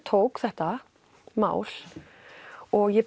tók þetta mál og ég